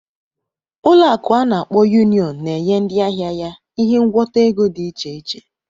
Ụlọ akụ ana akpo Union na-enye ndị ahịa ya ihe ngwọta ego dị iche iche.